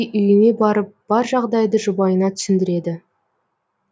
үйіне барып бар жағдайды жұбайына түсіндіреді